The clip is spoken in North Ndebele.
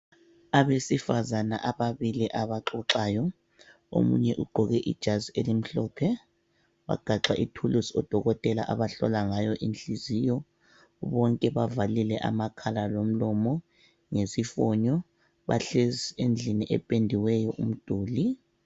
abesivazane ababili abaxoxayo omunye ugqoke ijazi elimhlophe wagaxa ithululusi odokotela abahlola ngayo inhliziyo bonke bavalile amakhala lomlomo ngesifonyo bahlezi endlini ependiweyo umduli